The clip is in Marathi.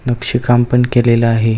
नक्षी काम पण केलेल आहे.